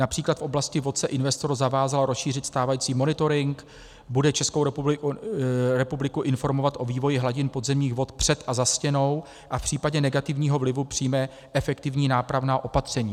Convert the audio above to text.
Například v oblasti vod se investor zavázal rozšířit stávající monitoring, bude Českou republiku informovat o vývoji hladin podzemních vod před a za stěnou a v případě negativního vlivu přijme efektivní nápravná opatření.